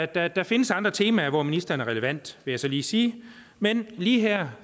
der der findes andre temaer hvor ministeren er relevant vil jeg så lige sige men lige her